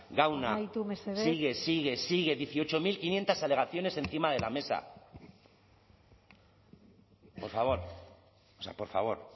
gauna sigue sigue sigue dieciocho mil quinientos alegaciones encima de la mesa por favor o sea por favor